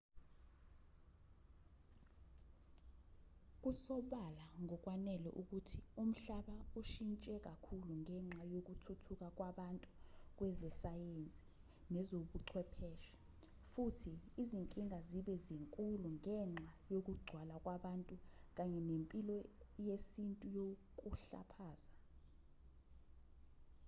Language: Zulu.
kusobala ngokwanele ukuthi umhlaba ushintshe kakhulu ngenxa yokuthuthuka kwabantu kwezesayensi nezobuchwepheshe futhi izinkinga zibe zinkulu ngenxa yokugcwala kwabantu kanye nempilo yesintu yokuhlaphaza